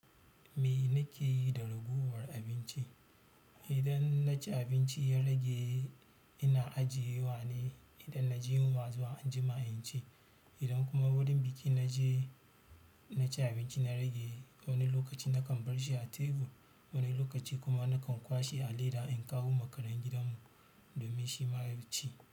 Me na ke yi da ragowar abinci? Idan na ci abinci ya rage ina ajiye wa ne? Idan na ji yunwa zuwa anjima in ci. Idan kuma wurin biki na je na ci abinci na rage wani lokaci nakan barshi a tebur, wani lokaci kuma nakan kwashe a leda in kawo makeran gidan mu domin shi ma ya ci.